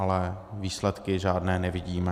Ale výsledky žádné nevidíme.